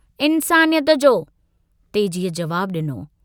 इन्सानियत जो " तेजीअ जवाबु डिनो।